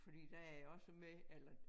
Fordi der er jeg også med eller